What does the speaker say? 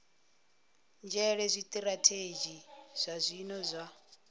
nzhele zwitirathedzhi zwa zwino zwa